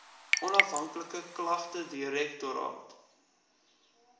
onafhanklike klagtedirektoraat